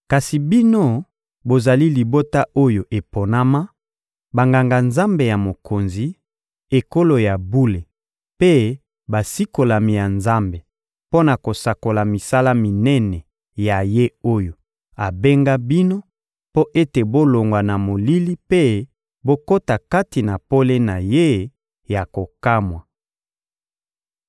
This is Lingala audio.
Kasi bino bozali libota oyo eponama, Banganga-Nzambe ya Mokonzi, ekolo ya bule mpe basikolami ya Nzambe mpo na kosakola misala minene ya Ye oyo abenga bino mpo ete bolongwa na molili mpe bokota kati na pole na Ye ya kokamwa.